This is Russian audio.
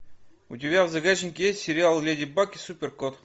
у тебя в загашнике есть сериал леди баг и супер кот